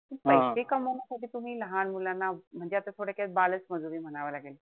पैसे कमावण्यासाठी तुम्ही लहान मुलांना म्हणजे आत थोडक्यात बालच मजुरी म्हणावं लागेल.